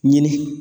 Ɲini